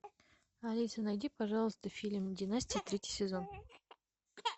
алиса найди пожалуйста фильм династия третий сезон